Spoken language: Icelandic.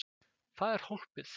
Það er hólpið?